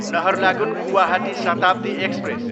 Naharlagun, Guwahati Shatabdi express